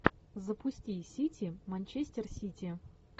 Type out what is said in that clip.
запусти сити манчестер сити